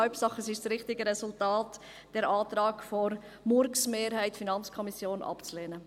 Hauptsache, es ist das richtige Resultat –, den Antrag der MurksMehrheit der FiKo abzulehnen.